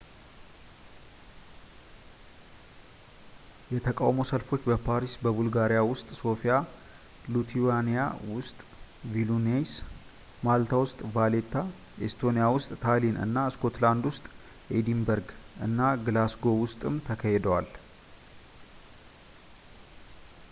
የተቃውሞ ሰልፎች በፓሪስ ቡልጋሪያ ውስጥ ሶፊያ ሊቱዋኒያ ውስጥ ቪልኑይስ ማልታ ውስጥ ቫሌታ ኤስቶኒያ ውስጥ ታሊን እና ስኮትላንድ ውስጥ ኤዲንበርግ እና ግላስጎው ውስጥም ተካሂደዋል